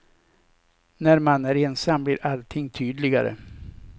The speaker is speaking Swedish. När man är ensam blir allting tydligare.